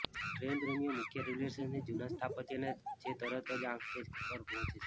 train પ્રેમીઓ મુખ્ય railway સ્ટેશનથી જૂના સ્થાપત્યને જે તરત જ આંખ કેચ પર પહોંચે છે